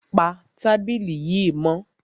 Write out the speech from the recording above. Pa tábìlì yìí mọ́!